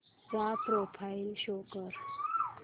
चा profile show कर